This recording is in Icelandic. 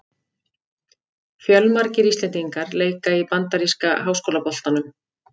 Fjölmargir íslendingar leika í bandaríska háskólaboltanum.